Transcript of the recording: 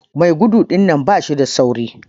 Mai gudu dinnan bashi da sauri.